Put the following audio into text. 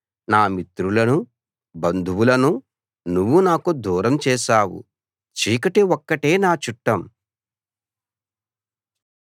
నా మిత్రులనూ బంధువులనూ నువ్వు నాకు దూరం చేశావు చీకటి ఒక్కటే నా చుట్టం